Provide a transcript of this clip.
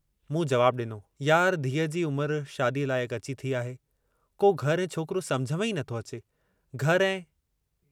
मूं जवाबु ॾिनो, यार, धीउ जी उमुरु शादीअ लाइकु अची थी आहे, को घरु ऐं छोकिरो समुझ में ई नथो अचे, घर ऐं